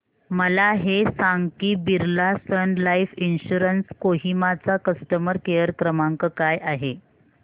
मला हे सांग की Birla Sun Life insurance Kohima चा कस्टमर केअर क्रमांक काय आहे